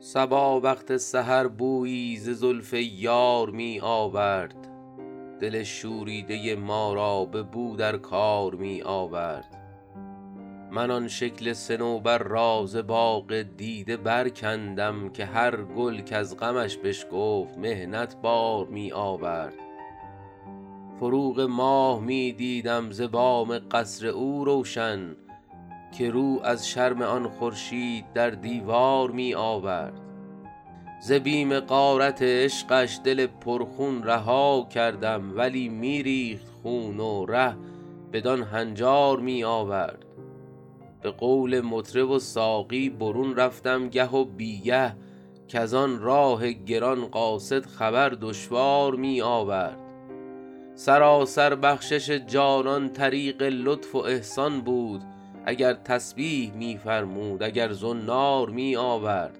صبا وقت سحر بویی ز زلف یار می آورد دل شوریده ما را به نو در کار می آورد من آن شکل صنوبر را ز باغ دیده برکندم که هر گل کز غمش بشکفت محنت بار می آورد فروغ ماه می دیدم ز بام قصر او روشن که رو از شرم آن خورشید در دیوار می آورد ز بیم غارت عشقش دل پرخون رها کردم ولی می ریخت خون و ره بدان هنجار می آورد به قول مطرب و ساقی برون رفتم گه و بی گه کز آن راه گران قاصد خبر دشوار می آورد سراسر بخشش جانان طریق لطف و احسان بود اگر تسبیح می فرمود اگر زنار می آورد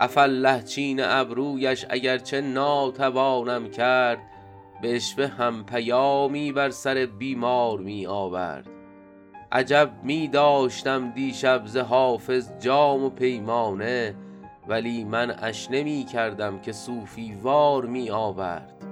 عفاالله چین ابرویش اگر چه ناتوانم کرد به عشوه هم پیامی بر سر بیمار می آورد عجب می داشتم دیشب ز حافظ جام و پیمانه ولی منعش نمی کردم که صوفی وار می آورد